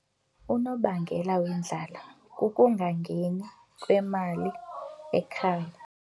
Unobangela wendlala kukungangeni kwemali ekhaya.